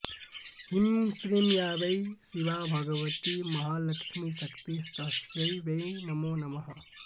ह्रीं श्रीं या वै शिवा भगवती महालक्ष्मीशक्तिस्तस्यै वै नमो नमः